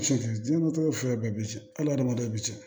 Cɛncɛn jinɛ bɛɛ bi cɛn adamaden bɛ cɛn